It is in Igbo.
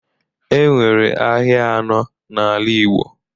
E nwere ahịa anọọ n'ala Igbo.